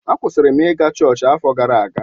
A kwụsịrị m ị ga chọọchị afọ gara aga.